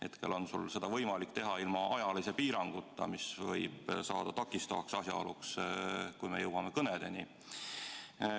Hetkel on sul seda võimalik teha ilma ajalise piiranguta, mis võib saada takistavaks asjaoluks, kui me jõuame kõnedeni.